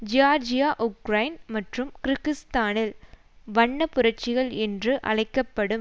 Georgia Ukraine மற்றும் கிர்கிஸ்தானில் வண்ண புரட்சிகள் என்று அழைக்க படும்